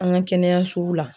An ka kɛnɛyasow la.